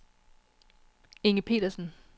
Inge Petersen